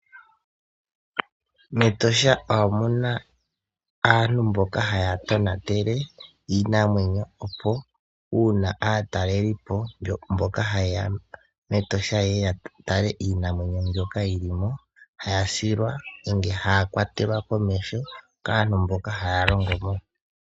MEtosha National Park omuna aantu mboka haya tonatele iinamwenyo opo uuna aatalelipo mboka hayeya mEtosha National Park yeye yatalelepo, ohaya silwa nokukwatelwa komeho .